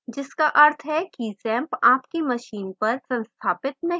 जिसका अर्थ है कि xampp आपकी machine पर संस्थापित नहीं हुआ है